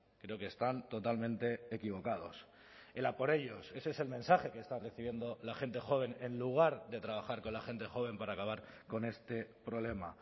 creo que están totalmente equivocados el a por ellos ese es el mensaje que está recibiendo la gente joven en lugar de trabajar con la gente joven para acabar con este problema